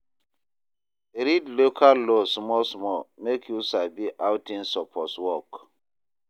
Read local law small small mek yu sabi how tins soppose work